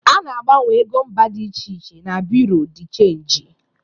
A na-agbanwe ego mba dị iche iche na bụreau de chanji.